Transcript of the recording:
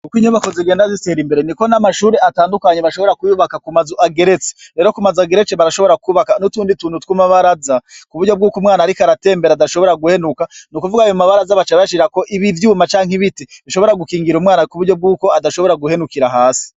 Uko inyubakwa zigenda zitera imbere niko n'amashure atandukanye bashobora kuyubaka kumazu ageretse. Rero kumazu ageretse barashobora kwubaka n'utuntu tw'amabaraza kuburyobwuko umwana ariko aratembera adashobora guhenuka. Nukuvuga ayo mabaraza baca bayashirako ivyuma canke ibiti bishobora gukingira umwana kuburyubwuko adashobora guhenukira hasi.